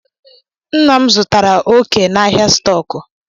Nna m zụtara ókè na ahịa stọkụ